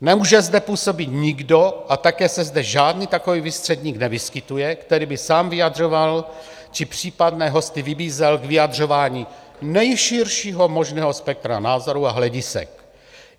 Nemůže zde působit nikdo, a také se zde žádný takový výstředník nevyskytuje, který by sám vyjadřoval či případné hosty vybízel k vyjadřování nejširšího možného spektra názorů a hledisek.